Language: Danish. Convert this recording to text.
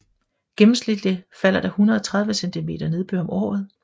Gennemsnitligt falder der 130 cm nedbør om året